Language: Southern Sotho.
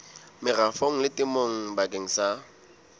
merafong le temong bakeng sa